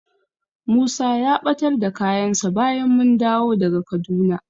Musa ya ɓatar da kayansa bayan mun dawo daga Kaduna.